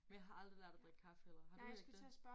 Men jeg har aldrig lært at drikke kaffe heller har du ikke det?